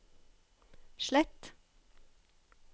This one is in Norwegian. slett